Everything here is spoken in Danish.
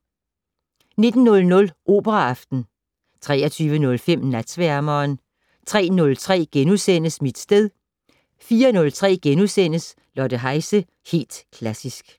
19:00: Operaaften 23:05: Natsværmeren 03:03: Mit sted * 04:03: Lotte Heise - Helt Klassisk *